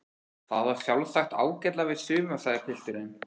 Það á sjálfsagt ágætlega við suma sagði pilturinn.